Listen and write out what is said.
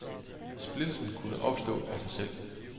Splittelsen kunne opstå af sig selv.